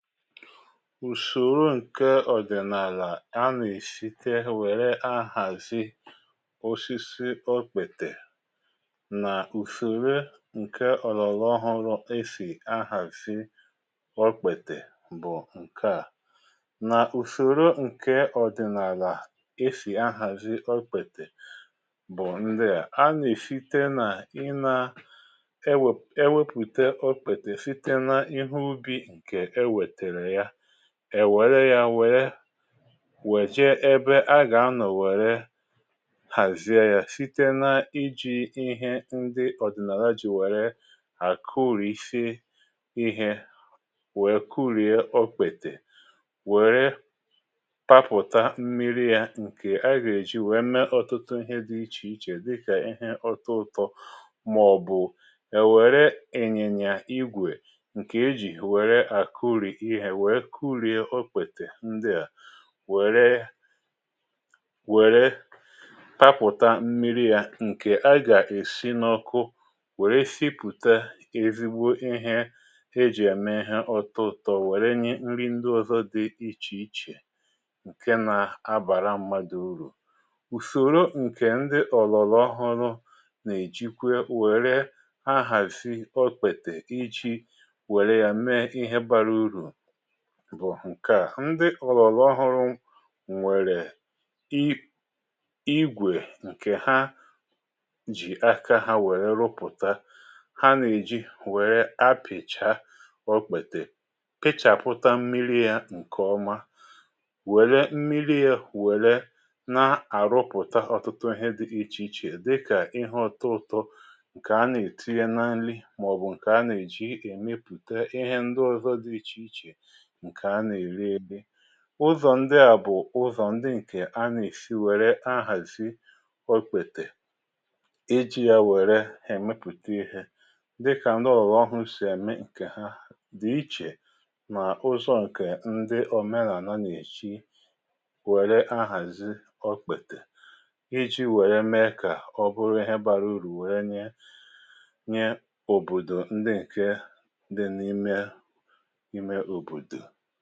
Ùsòro ǹke ọ̀dị̀nàlà anà-èsite wère ahàzi osisi okpètè nà ùsòro ǹke ọ̀lọ̀lọ̀ ọhọrọ e sì ahàzi okpètè bụ̀ ǹkeà: nà ùsòro ǹke ọ̀dị̀nàlà e sì ahàzi okpètè bụ̀ ǹdia: anà-èsite nà ị na-ewepùte okpètè site na ihe ubi nke ewetere ya, èwère yȧ wère wejie ebe a gà-anọ̀ wère hàzie yȧ site na-iji̇ ihe ndi ọ̀dị̀nàla jì wère àkùrìsi ihe wèe kuriė ọkpètè wère papụ̀ta mmiri yȧ ǹke a gà-èji wèe mee ọtụtụ ihe di ichè ichè dịkà ihe ọtọ ụtọ màọ̀bụ̀ èwère ịnyị̇nyà igwè ǹkè eji̇ wèrè akuri ihe wéé kurie okpètè ndịà wère wère papụ̀ta mmi̇ri̇ ya ǹkè agà-èsi n’ọkụ wère sipùta ezigbo ihe e jì eme ihe ọtọ ụ̀tụ̀ wère nye nri ndị ọ̀zọ dị ichè ichè ǹke nà-abàra mmadụ̀ urù. Ùsòro ǹkè ndị ọ̀lọ̀lọ̀ ọhụrụ̇ nà-èjikwe wère ahàzị okpètè iji̇ wère yȧ mee ihe bara urù bụ̀ ǹke à: ndị ọ̀lọ̀lọ̀ ọhụrụ nwèrè i igwè ǹkè ha jì aka ha wèrè rụpụ̀ta ha nà-èji wèrè apị̀cha ọkpètè pịchàpụta mmiri̇ yȧ ǹkè ọma wère mmiri̇ ya wère na-àrụpụ̀ta ọ̀tụtụ ihe dị ichè ichè dịkà ihe ọtọ ụ̀tọ ǹkè ha nà-ètinye na nli màọ̀bụ̀ ǹkè ha nà-èji èmepùte ihe ndị ọ̀zọ dị ichè ichè nke ana erieri. Ụzọ̀ ndị à bụ̀ ụzọ̀ ndị ǹkè a nà-èsi wère ahàzi ọkpètè iji̇ ya wèrè èmepùta ihe. Dikà ndị ọ̀lụ̀lụ ọhụ sì èmi ǹkè ha dị̀ ichè nà ụzọ̀ ǹkè ndị omenàànà na eji wère ahàzi ọkpètè iji̇ wère mee kà ọ bụrụ ihe bara urù wère nye nye òbòdò ndị ǹke dị n’ime ime obodo.